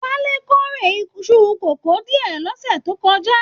Wale k'ore Isu kòkò diẹ l'ọ́ṣẹ́ tó kọjá.